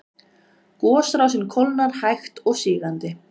Gosrásin kólnar hægt og sígandi